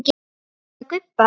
Varstu að gubba?